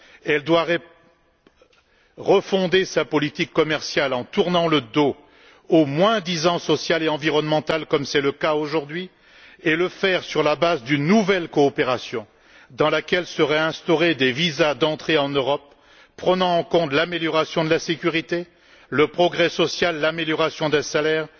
Elle doit réformer sa politique commerciale en tournant le dos au moins disant social et environnemental, qui est roi aujourd'hui, et s'appuyer pour ce faire sur une nouvelle coopération selon laquelle seraient instaurés des visas d'entrée en Europe prenant en compte l'amélioration de la sécurité, le progrès social, la revalorisation des salaires